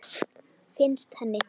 Finnst henni.